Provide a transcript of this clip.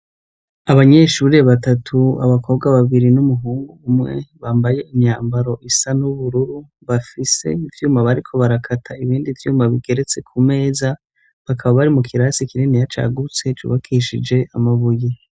Abanyeshuri batatu ,abakobwa babiri ,n'umuhungu umwe bambaye imyambaro isa n'ubururu bafise ivyuma bariko barakata ibindi vyuma bigeretse ku meza bakaba bari mu kirasi kininiya cagutse cubakishije amabuye.